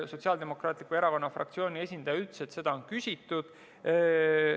Sotsiaaldemokraatliku Erakonna fraktsiooni esindaja ütles, et seda on küsitud.